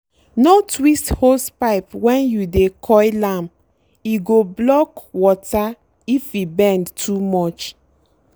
no twist hosepipe when you dey coil am—e go block water if e bend too much.